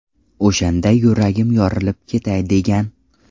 O‘shanda yuragim yorilib ketay degan.